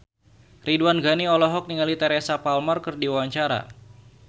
Ridwan Ghani olohok ningali Teresa Palmer keur diwawancara